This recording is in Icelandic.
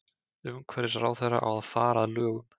Umhverfisráðherra á að fara að lögum